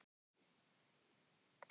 Konur, sem er kalt á vetrarnóttum.